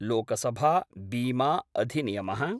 Lok Sabha बीमाअधिनियमः